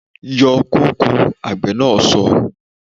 Yọ kóko! Àgbè na so